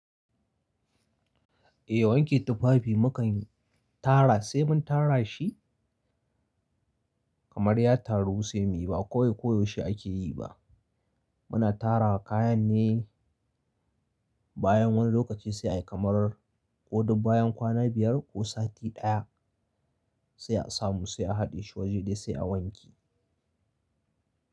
Eh wanke tufafi mukan tara sai mun tara shi, kamar ya taru sai muyi ba koyaushe ake yi ba. Muna tara kayan ne bayan wani lokaci sai kamar ko duk bayan kwana biyar ko sati ɗaya, sai a samu sai a haɗe shi waje ɗaya sai a wanke.